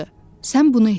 Sən bunu etdin.